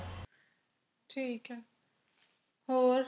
ਠੀਕ ਹੈ ਹੋਰ